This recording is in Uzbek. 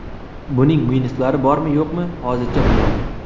Buning minuslari bormi-yo‘qmi, hozircha bilmayman.